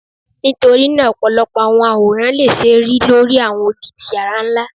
Nitorina ọpọlọpọ awọn aworan le ṣee ri lori awọn odi ti yara nla2